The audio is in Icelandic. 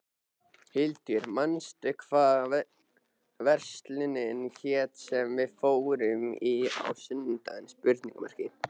Hildur, manstu hvað verslunin hét sem við fórum í á sunnudaginn?